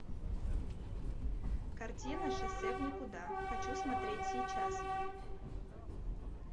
картина шоссе в никуда хочу смотреть сейчас